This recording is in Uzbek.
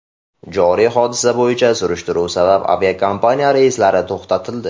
Joriy hodisa bo‘yicha surishtiruv sabab, aviakompaniya reyslari to‘xtatildi.